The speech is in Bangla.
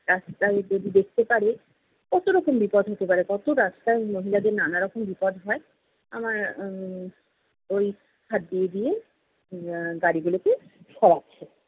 রাস্তায় যদি দেখতে পারে, কত রকম বিপদ হতে পারে কত রাস্তায় মহিলাদের নানারকম বিপদ হয় আমার উম ওই হাত দিয়ে দিয়ে এর গাড়িগুলোকে সরাচ্ছে।